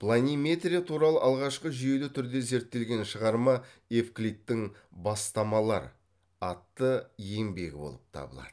планиметрия туралы алғашқы жүйелі түрде зерттелген шығарма евклидтің бастамалар атты еңбегі болып табылады